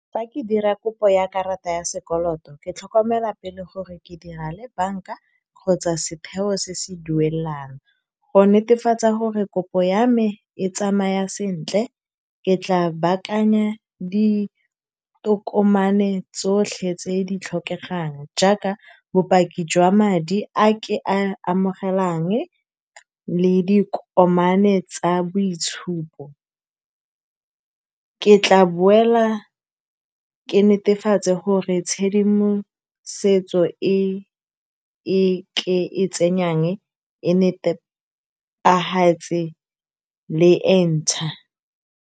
Fa ke dira kopo ya sekoloto. Ke tlhokomela pele gore ke dira le bank-a kgotsa setheo se se duelang, go netefatsa gore kopo ya me e tsamaya sentle. Ke tla baakanya ditokomane tsotlhe tse di tlhokegang, jaaka bopaki jwa madi a ke a amogelang le dikokomane tsa boitshupo. Ke tla boela ke netefatse gore tshedimosetso e e ke e tsenyang e netefetse le e ntšha.